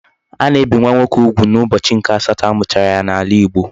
A na-ebi nwa nwoke ugwu n'ubochi nke asato a muchara ya n'ala igbo